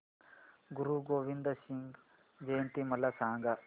गुरु गोविंद सिंग जयंती मला सांगा